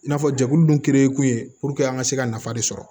I n'a fɔ jɛkulu dun ye kun ye an ka se ka nafa de sɔrɔ